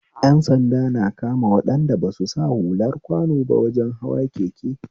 Ƴan sanda na kama waɗanda basu sa hular kwano ba wajen hawa keke